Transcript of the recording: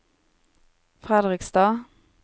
Fredrikstad